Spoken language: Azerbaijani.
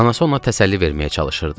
Anası ona təsəlli verməyə çalışırdı.